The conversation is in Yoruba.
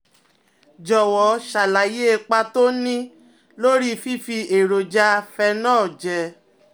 Jọ̀wọ́ ṣàlàyé ipa tó ń ní lórí fífi èròjà phenol jẹ